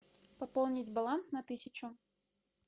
пополнить баланс на тысячу